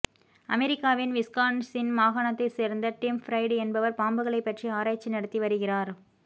அமெரிக்காவின் விஸ்கான்ஸின் மாகாணத்தைச் சேர்ந்த டிம் ஃபிரைடு என்பவர் பாம்புகளைப் பற்றி ஆராய்ச்சி நடத்தி வருகிறார்